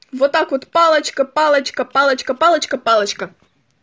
вот так вот палочка палочка палочка палочка палочка